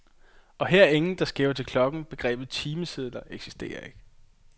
Og her er ingen, der skæver til klokken, begrebet timesedler eksisterer ikke.